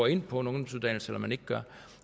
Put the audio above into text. ind på en ungdomsuddannelse eller man ikke gør